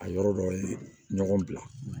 A yɔrɔ dɔ ye ɲɔgɔn bila